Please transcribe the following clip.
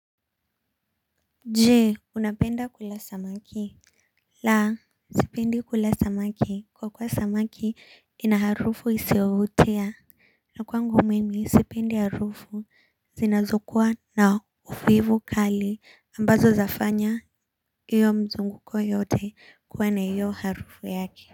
Je unapenda kula samaki. La sipendi kula samaki kwa kuwa samaki ina harufu isiovutia. Na kwangu mimi sipendi harufu zinazokua na uvivu kali ambazo zafanya iyo mzunguko yote kuwa na iyo harufu yake.